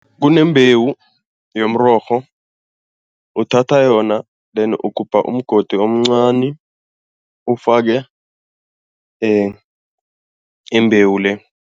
Kunembewu yomrorho, uthatha yona deni ugubha umgodi omncani ufake imbewu le.